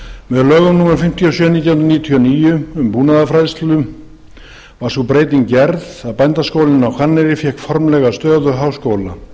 með lögum númer fimmtíu og sjö nítján hundruð níutíu og níu um búnaðarfræðslu var sú breyting gerð að bændaskólinn á hvanneyri fékk formlega stöðu háskóla